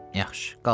Yaxşı, qalsın.